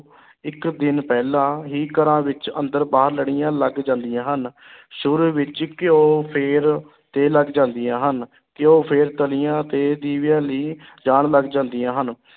ਇੱਕ ਦਿਨ ਪਹਿਲਾਂ ਹੀ ਘਰਾਂ ਵਿੱਚ ਅੰਦਰ ਬਾਹਰ ਲੜੀਆਂ ਲੱਗ ਜਾਂਦੀਆਂ ਹਨ ਸ਼ੁਰੂ ਵਿੱਚ ਘਿਓ ਫਿਰ ਤੇਲ ਜਲਦੀਆਂ ਹਨ, ਘਿਓ ਫਿਰ ਤਲੀਆਂ ਤੇ ਦੀਵਿਆਂ ਲਈ ਜਾਣ ਲੱਗ ਜਾਂਦੀਆਂ ਹਨ।